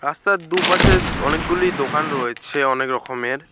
রাস্তার দুপাশে অনেকগুলি দোকান রয়েছে অনেক রকমের।